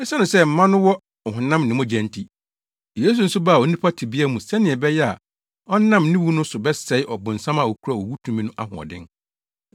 Esiane sɛ mma no wɔ ɔhonam ne mogya nti, Yesu nso baa onipa tebea mu sɛnea ɛbɛyɛ a ɔnam ne wu no so bɛsɛe ɔbonsam a okura owu tumi no ahoɔden.